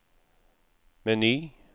meny